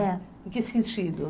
Em que sentido?